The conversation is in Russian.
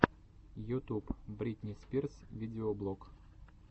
ютуб бритни спирс видеоблог